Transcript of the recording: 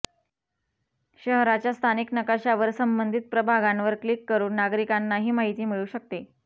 शहराच्या स्थानिक नकाशावर संबंधित प्रभागांवर क्लिक करून नागरिकांनाही माहिती मिळू शकते